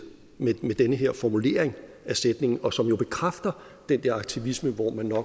med den her formulering af sætningen og som jo bekræfter den der aktivisme